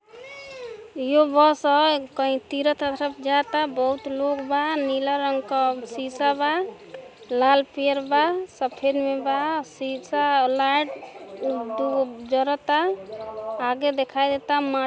यह बस बा कहि तीरथ जा त बहुत लोग बा नीला रंग का सीसा बा लाल पियर बा सफ़ेद बा सीसा लॉएट दु गो जरत ता आगे दिखाई दे ता मा --